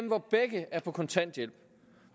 hvor begge er på kontanthjælp